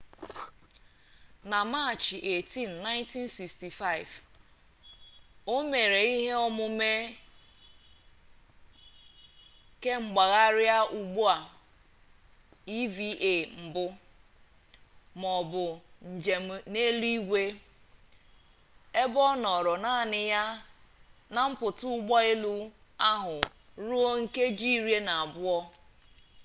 na machị 18 1965 o mere ihe omume kemgbagharị ụgbọ eva mbụ maọbụ njem n'eluigwe ebe ọ nọọrọ naanị ya na mpụta ụgbọ elu ahụ ruo nkeji iri na abụọ